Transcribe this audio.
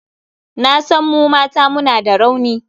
Na san mu mata muna da rauni.